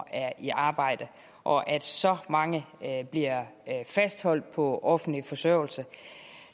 er i arbejde og at så mange bliver fastholdt på offentlig forsørgelse